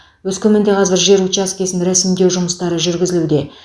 өскеменде қазір жер учаскесін ресімдеу жұмыстары жүргізілуде